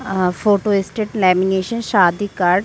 अ photostat lamination शादी card --